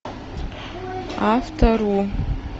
авто ру